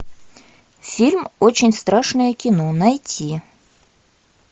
фильм очень страшное кино найти